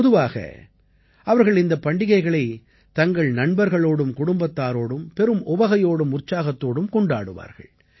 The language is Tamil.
பொதுவாக அவர்கள் இந்தப் பண்டிகைகளைத் தங்கள் நண்பர்களோடும் குடும்பத்தாரோடும் பெரும் உவகையோடும் உற்சாகத்தோடும் கொண்டாடுவார்கள்